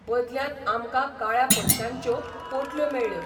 बदल्यांत आमकां काळ्या पयश्यांच्यो पोटल्यो मेळ्ळ्यो.